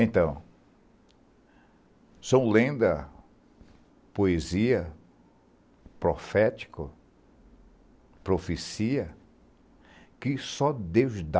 Então, são lendas, poesia, profética, profecia que só Deus dá.